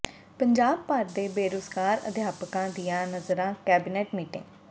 ਪੰਜਾਬ ਭਰ ਦੇ ਬੇਰੁਜ਼ਗਾਰ ਅਧਿਆਪਕਾਂ ਦੀਆਂ ਨਜ਼ਰਾਂ ਕੈਬਨਿਟ ਮੀਟਿੰਗ